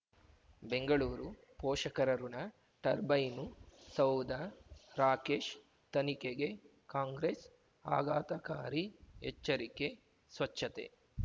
ಬೆಂಗಳೂರು ಪೋಷಕರಋಣ ಟರ್ಬೈನು ಸೌಧ ರಾಕೇಶ್ ತನಿಖೆಗೆ ಕಾಂಗ್ರೆಸ್ ಆಘಾತಕಾರಿ ಎಚ್ಚರಿಕೆ ಸ್ವಚ್ಛತೆ